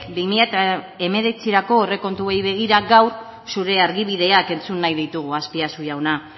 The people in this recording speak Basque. bi mila hemeretzirako aurrekontuei begira gaur zure argibideak entzun nahi ditugu azpiazu jauna